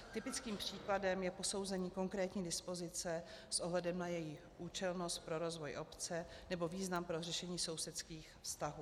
Typickým případem je posouzení konkrétní dispozice s ohledem na její účelnost pro rozvoj obce nebo význam pro řešení sousedských vztahů.